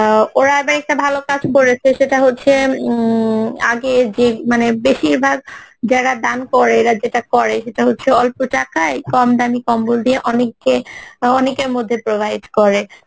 আহ ওরা আবার একটা ভালো কাজ করেছে সেটা হচ্ছে ইম আগের যে মানে বেশিরভাগ যারা দান করে এরা যেটা করে সেটা হচ্ছে অল্প টাকায় কমদামী কম্বল দিয়ে অনেককে বা অনেকের মধ্যে provide করে